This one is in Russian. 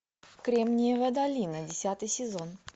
кремниевая долина десятый сезон